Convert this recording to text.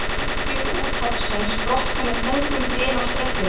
Bylgjur úthafsins brotna með þungum dyn á ströndinni.